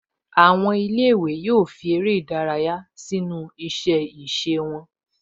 Àwọn ilé-ìwé yóò fi eré sínu iṣẹ́-ìse wọn